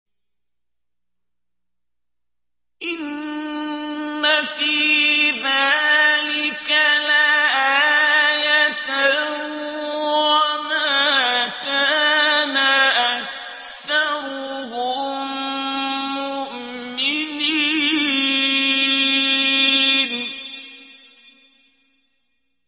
إِنَّ فِي ذَٰلِكَ لَآيَةً ۖ وَمَا كَانَ أَكْثَرُهُم مُّؤْمِنِينَ